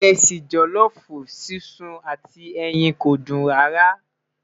iresi jolofu sísun àti ẹyìn kò dùn rara